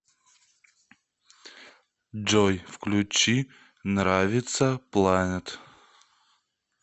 джой включи нравится планет